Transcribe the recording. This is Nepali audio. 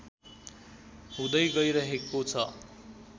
हुँदै गइरहेको छ